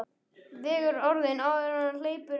Vegur orðin áður en hann hleypir þeim út.